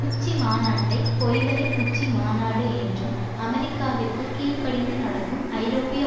உச்சிமாநாட்டை பொய்களின் உச்சிமாநாட்டு என்றும் அமெரிக்காவிற்கு கீழ்படிந்து நடக்கும் ஐரோப்பிய